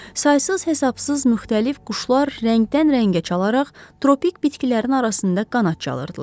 Saysız-hesabsız müxtəlif quşlar rəngdən-rəngə çalaraq tropik bitkilərin arasında qanad çalırdılar.